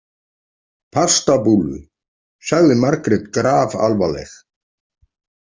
Pastabúllu, sagði Margrét grafalvarleg.